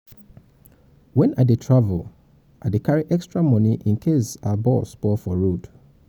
wen i dey travel i dey travel i dey carry extra moni incase our bus spoil for road.